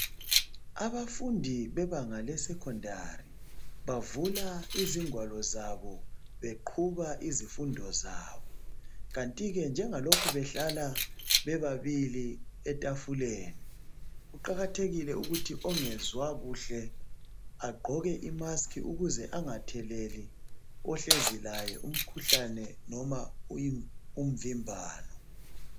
Abafundi bebanga lesecondary bavula izingwalo zabo beqhuba izifundo zabo kanti ke njengalokhu behlala bebabili etafuleni kuqakathekile ukuthi ongezwa kuhla agqoke imaski ukuze angatheleli ohlezi laye umkhuhlane nomza umvimbano.